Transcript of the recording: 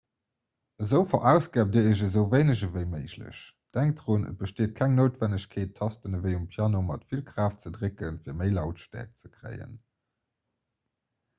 esou verausgaabt dir iech esou wéineg ewéi méiglech denkt drun et besteet keng noutwennegkeet d'tasten ewéi um piano mat vill kraaft ze drécken fir méi lautstäerkt ze kréien